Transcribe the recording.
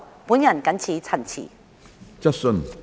我謹此陳辭。